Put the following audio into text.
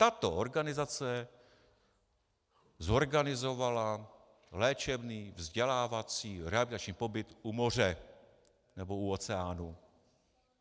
Tato organizace zorganizovala léčebný vzdělávací rehabilitační pobyt u moře nebo u oceánu.